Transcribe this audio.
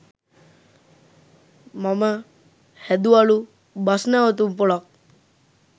මම හැදුවලු බස්නැවතුම්පොළක්